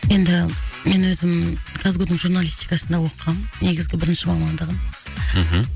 енді мен өзім қазгу дың журналистикасында оқығам негізгі бірінші мамандағым мхм